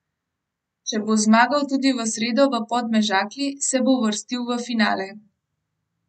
Če bo zmagal tudi v sredo v Podmežakli, se bo uvrstil v finale.